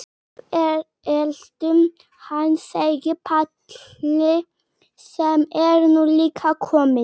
Við eltum hann, segir Palli sem er nú líka kominn.